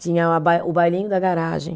Tinha a bai, o bailinho da garagem.